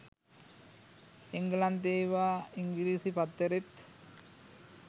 එංගලන්තේ එවා ඉංගිරිසිපත්තරෙත්